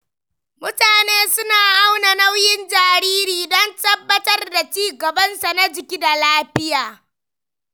Mutane suna auna nauyin jariri don tabbatar da ci gabansa na jiki da lafiya.